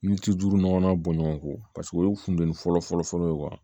Min tɛ duuru ɲɔgɔnna bɔ ɲɔgɔn kɔ paseke o ye fintenin fɔlɔ fɔlɔ ye